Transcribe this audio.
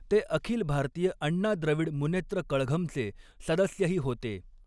ते अखिल भारतीय अण्णा द्रविड मुनेत्र कळघमचे सदस्यही होते.